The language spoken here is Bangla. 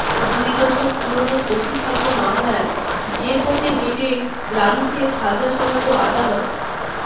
দুই দশক পুরনো পশুখাদ্য মামলায় যে পথে হেঁটে লালুকে সাজা শোনাল আদালত